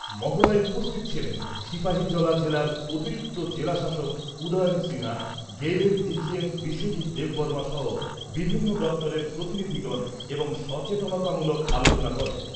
মহড়ায় উপস্থিত ছিলেন সিপাহীজলা জেলার অতিরিক্ত জেলা শাসক উদয়ন সিনহা , গেইলের D G M Biswajit Debbarma সহ বিভিন্ন দপ্তরের প্রতিনিধিগণ এবং সচেতনতামূলক আলোচনা করেন।